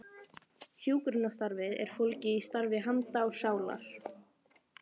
Hjúkrunarstarfið er fólgið í starfi handa og sálar.